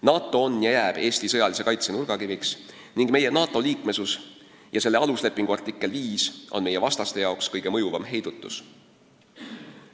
NATO on ja jääb Eesti sõjalise kaitse nurgakiviks ning meie NATO liikmesus ja NATO aluslepingu artikkel 5 on meie vastastele kõige enam mõjuv heidutus.